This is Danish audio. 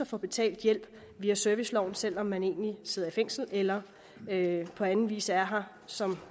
få betalt hjælp via serviceloven selv om man egentlig sidder i fængsel eller på anden vis er her som